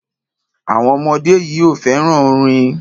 Àwọn ọmọdé yìí ò fẹ́ràn orin.